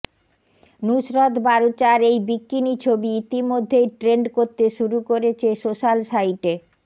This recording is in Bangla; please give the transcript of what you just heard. নুসরত বারুচার এই বিকিনি ছবি ইতিমধ্যেই ট্রেন্ড করতে শুরু করেছে সোশ্যাল সাইটে